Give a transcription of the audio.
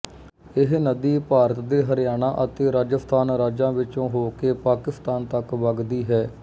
ਇਹ ਨਦੀ ਭਾਰਤ ਦੇ ਹਰਿਆਣਾ ਅਤੇ ਰਾਜਸਥਾਨ ਰਾਜਾਂ ਵਿਚੋਂ ਹੋਕੇ ਪਾਕਿਸਤਾਨ ਤੱਕ ਵਗਦੀ ਹੈ